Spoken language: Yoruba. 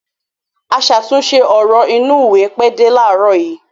Aṣàtúnṣe ọ̀rọ̀ inúùwé pẹ́ dé láàárọ̀ yìí.